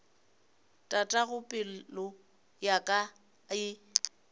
tatago pelo ya ka e